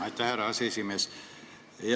Aitäh, härra aseesimees!